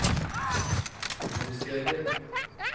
bosteder